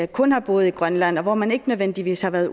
kun har boet i grønland og hvor man ikke nødvendigvis har været